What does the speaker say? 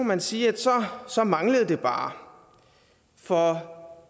man sige at så manglede det bare for